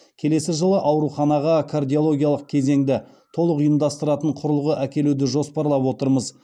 келесі жылы ауруханаға кардиологиялық кезеңді толық ұйымдастыратын құрылғы әкелуді жоспарлап отырмыз